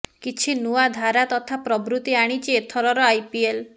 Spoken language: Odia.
କିଛି ନୂଆ ଧାରା ତଥା ପ୍ରବୃତ୍ତି ଆଣିଛି ଏଥରର ଆଇପିଏଲ୍